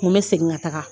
N ko n bɛ segin ka taga